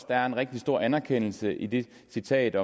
der er en rigtig stor anerkendelse i det citat af